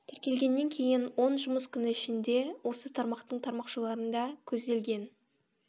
тіркелгеннен кейін он жұмыс күні ішінде осы тармақтың тармақшаларында көзделген